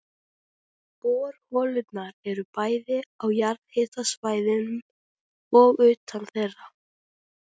Borholurnar eru bæði á jarðhitasvæðum og utan þeirra.